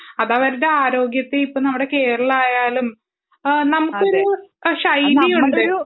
അതവരുടെ ആരോഗ്യത്തെ ഇപ്പം നമ്മുടെ കേരളം ആയാലും നമുക്കൊരു ശൈലിയുണ്ട്